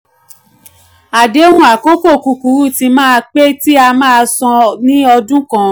àdéhùn àkókò kúkúrú tí máa um pé tí a máa um san um ní ọdún kan.